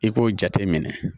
I k'o jate minɛ